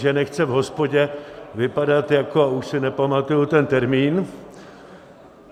Že nechce v hospodě vypadat jako - a už si nepamatuji ten termín.